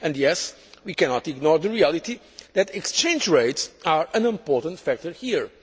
And yes, we cannot ignore the reality that exchange rates are an important factor here.